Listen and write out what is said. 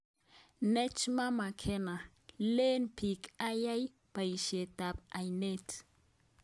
Najma Makena: Leen biik ayae boisyetab aindet